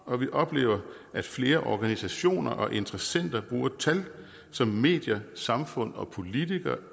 og vi oplever at flere organisationer og interessenter bruger tal som medier samfund og politikere